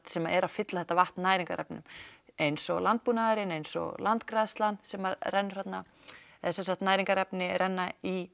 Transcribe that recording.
sem eru að fylla þetta vatn næringarefnum eins og landbúnaðurinn eins og landgræðslan sem rennur þarna sem sagt næringarefni renna í